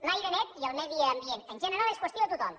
l’aire net i el medi ambient en general és qüestió de tothom